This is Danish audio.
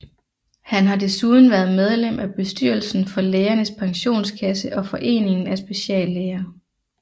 Han har desuden været medlem af bestyrelsen for Lægernes Pensionskasse og Foreningen af Speciallæger